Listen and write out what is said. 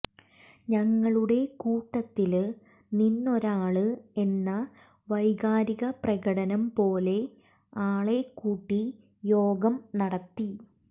ഞങ്ങളുടെ കൂട്ടത്തില് നിന്നൊരാള് എന്ന വൈകാരികപ്രകടനം പോലെ ആളെക്കൂട്ടി യോഗം നടത്തി